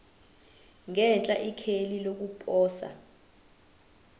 ngenhla ikheli lokuposa